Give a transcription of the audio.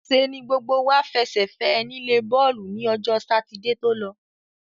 ṣe ni gbogbo wá fẹsẹ̀ fẹ́ ẹ nílé bọ́ọ̀lù ni ọjọ́ Sátidé tó lọ.